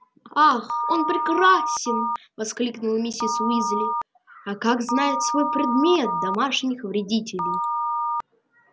ах он прекрасен воскликнула миссис уизли а как знает свой предмет домашних вредителей